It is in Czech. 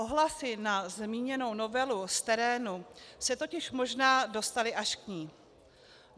Ohlasy na zmíněnou novelu z terénu se totiž možná dostaly až k ní.